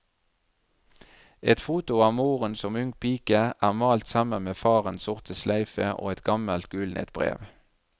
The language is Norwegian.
Et foto av moren som ung pike er malt sammen med farens sorte sløyfe og et gammelt, gulnet brev.